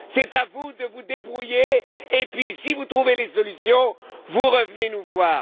C'est à vous de vous débrouiller et, si vous trouvez les solutions, vous revenez nous voir.